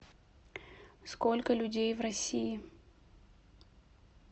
сколько людей в россии